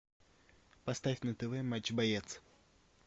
поставь на тв матч боец